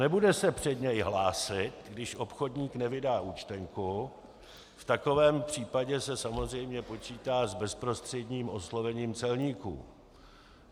Nebude se před něj hlásit, když obchodní nevydá účtenku, v takovém případě se samozřejmě počítá s bezprostředním oslovením celníků.